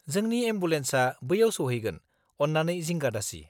जोंनि एम्बुलेन्सआ बैआव सौहैगोन, अन्नानै जिंगा दासि।